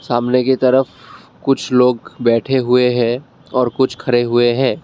सामने की तरफ कुछ लोग बैठे हुए हैं और कुछ खड़े हुए हैं।